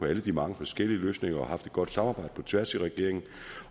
alle de mange forskellige løsninger og har haft et godt samarbejde på tværs af regeringen